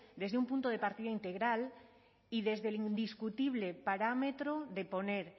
desde un punto de partida integral y desde el indiscutible parámetro de poner